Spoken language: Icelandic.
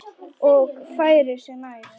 Og færir sig nær.